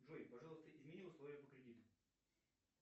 джой пожалуйста измени условия по кредиту